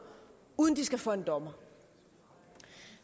uden de skal for en dommer